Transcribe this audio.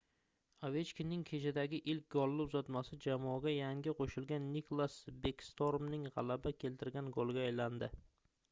ovechkinning kechadagi ilk golli uzatmasi jamoaga yangi qoʻshilgan niklas bekstormning gʻalaba keltirgan goliga aylandi